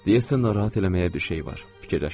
Deyəsən narahat eləməyə bir şey var, fikirləşdim.